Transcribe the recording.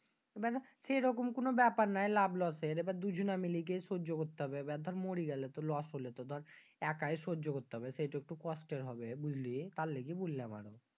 বেটা সেই লকম কোন ব্যাপার নেই লাভ Loss এর। এবার দর দুই জনা মিলেই সহ্য করতে হবে। বেটা মরি গেলে তো Loss হলো। দর একাই সহ্য করতে হবে সেটা একটু কষ্টের হবে। বুঝলি? তার লাইজ্ঞে বইলাম আমি।